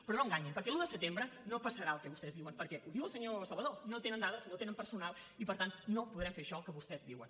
però no enganyin perquè l’un de setembre no passarà el que vostès diuen perquè ho diu el senyor salvadó no tenen dades no tenen personal i per tant no podrem fer això que vostès diuen